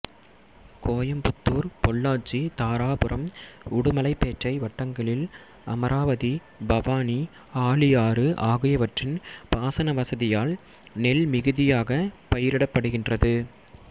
கோயம்புத்தூர் பொள்ளாச்சி தாராபுரம் உடுமலைப்பேட்டை வட்டங்களில் அமராவதி பவானி ஆழியாறு ஆகியவற்றின் பாசன வசதியால் நெல் மிகுதியாக பயிரிடப்படுகின்றது